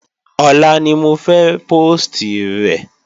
Ọ̀la ni mo fẹ́ póòstì rẹ̀